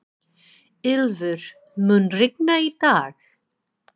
Ylfur, mun rigna í dag?